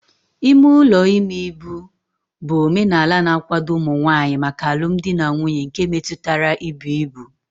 Ime ụlọ ime ibu bụ omenala na-akwado ụmụ nwanyị maka alụmdi na nwunye nke metụtara ibu ibu.